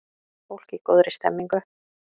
Fólk í góðri stemningu!